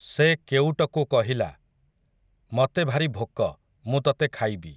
ସେ କେଉଟକୁ କହିଲା, ମତେ ଭାରି ଭୋକ, ମୁଁ ତତେ ଖାଇବି ।